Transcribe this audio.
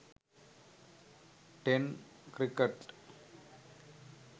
ten cricket